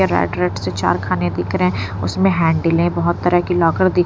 red red से चार खाने दिख रहे हैं उसमें हैंडलें बहुत तरह की लॉकर दि --